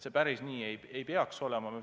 See päris nii ei tohiks olla.